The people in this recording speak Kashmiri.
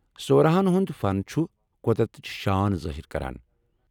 سوراہن ہُند فن چُھ قۄدرتٕچ شان ظٲہر کران ۔